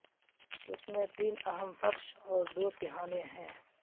اس میں تین اہم فرش اور دو تہھانے ہیں